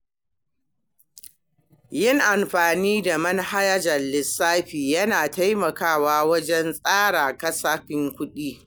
Yin amfani da manhajar lissafi yana taimakawa wajen tsara kasafin kuɗi.